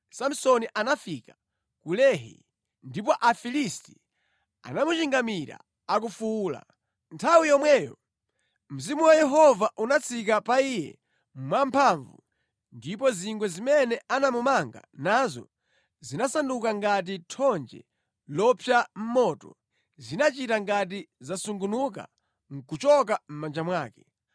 Samsoni anafika ku Lehi, ndipo Afilisti anamuchingamira akufuwula. Nthawi yomweyo Mzimu wa Yehova unatsika pa iye mwamphamvu ndipo zingwe zimene anamumanga nazo zinasanduka ngati thonje lopsa mʼmoto, zinachita ngati zasungunuka nʼkuchoka mʼmanja mwake.